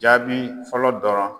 Jaabi fɔlɔ dɔrɔn